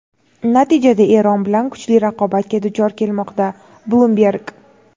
natijada Eron bilan kuchli raqobatga duch kelmoqda – "Bloomberg".